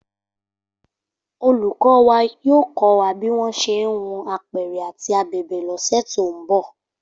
Olùkọ́ wa yóò kọ́ wa bí wọ́n ṣe ń hun apẹ̀rẹ̀ àti abẹ̀bẹ̀ lọ́sẹ̀ tó ń bọ̀